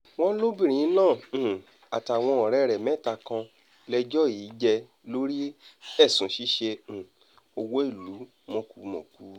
wọ́n lóbìnrin náà um àtàwọn ọ̀rẹ́ rẹ̀ mẹ́ta kan lẹ́jọ́ í jẹ́ lórí ẹ̀sùn ṣíṣe um owó ìlú mọ̀kùmọ̀kù